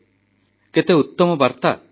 ଶୁଭମ୍ କରୋତି କଲ୍ୟାଣମ୍ ଆରୋଗ୍ୟମ୍ ଧନ ସମ୍ପଦାମ୍